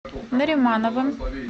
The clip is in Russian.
наримановым